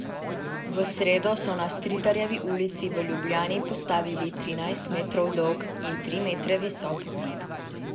V sredo so na Stritarjevi ulici v Ljubljani postavili trinajst metrov dolg in tri metre visok zid.